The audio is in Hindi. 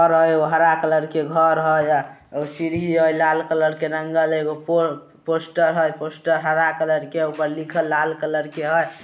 घर हय हरा कलर के घर हय उ सीडी हय लाल के रंगल एको पोर पोस्टर हय पोस्टर हरा कलर के ऊपर लिखल लाल कलर के हय।